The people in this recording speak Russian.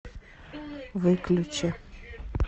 выключи